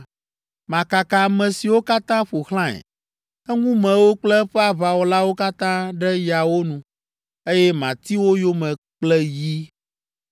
Makaka ame siwo katã ƒo xlãe, eŋumewo kple eƒe aʋawɔlawo katã ɖe yawo nu, eye mati wo yome kple yi.